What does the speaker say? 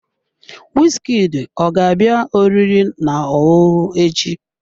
Wizkid ọ ga-abịa oriri na ọṅụṅụ echi?